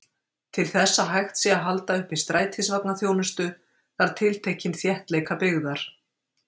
Til þess að hægt sé að halda uppi strætisvagnaþjónustu, þarf tiltekinn þéttleika byggðar.